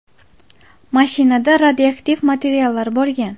Mashinada radioaktiv materiallar bo‘lgan.